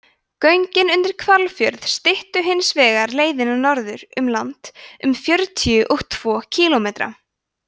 göngin undir hvalfjörð styttu hins vegar leiðina norður um land um fjörutíu og tvo kílómetra